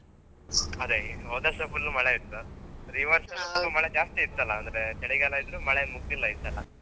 ಅದೇ ಹೋದ ವರ್ಷ full ಮಳೆ ಇತ್ತು ಅದೇ ಈ ವರ್ಷ full ಮಳೆ ಜಾಸ್ತಿ ಇತ್ತಾಲ್ಲಾ ಅಂದ್ರೆ ಚಳಿಗಾಲ ಇದ್ರೂ ಮಳೆಗಾಲ ಮುಗ್ದಿಲ್ಲ ಈ ಸಲ.